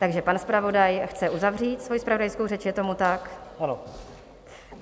Takže pan zpravodaj chce uzavřít svoji zpravodajskou řeč, je tomu tak?